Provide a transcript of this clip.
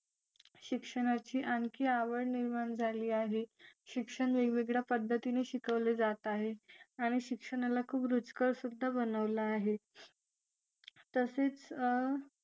शिक्षणाची आणखी आवड निर्माण झाली आहे शिक्षण वेगवेगळ्या पद्धतीने शिकवले जात आहे आणि शिक्षणाला खूप रुचकर सुद्धा बनवले आहे तसेच